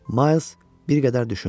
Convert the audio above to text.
Miles bir qədər düşündü.